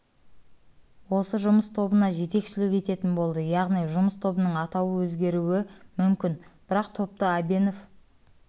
осы жұмыс тобына жетекшілік ететін болды яғни жұмыс тобының атауы өзгеруі мүмкін бірақ топты әбенов